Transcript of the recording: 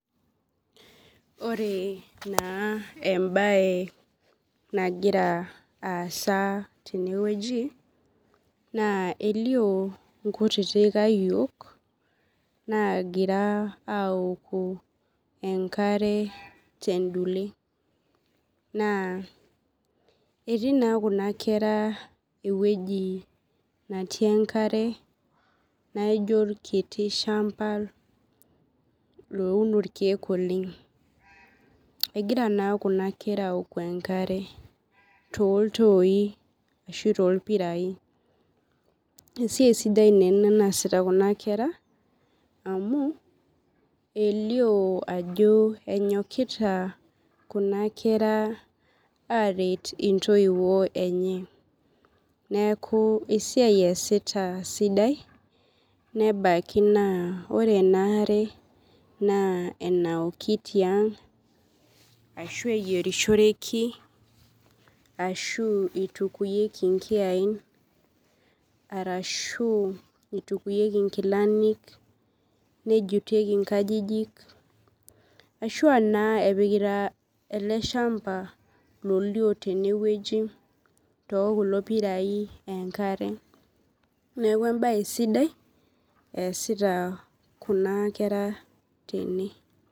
Ore na embae nagira aasa tenewueji na elio nkutiti ayiok nagira aoko enkare tendule na etii na kuna kera ewoi natii enkare naijo orkiti shamba ouno rkiek oleng egira na kuna kera aoku enkare toltoi ashu torpirai esiai sidai ena naasita kunakera elio ajo enyokita kuna kera aret ntoiwuo enye neaku esiai easita sidai nebaki na ore inaare na enaoki tiang ashu eyerishoreki ashu itukunyeki nkiyai arashu itukunyeki nkilani nejutieki nkajijik lolio tene tokulo pirai enkare neaku embae sidai easita kuna kera tene.